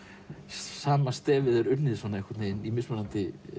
sama stefið er unnið í mismunandi